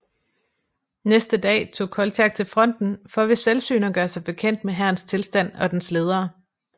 Næste dag tog Koltjak til fronten for ved selvsyn at gøre sig bekendt med hærens tilstand og dens ledere